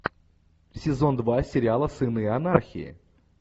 сезон два сериала сыны анархии